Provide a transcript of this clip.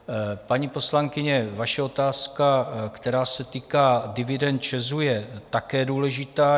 Paní poslankyně, vaše otázka, která se týká dividend ČEZu, je také důležitá.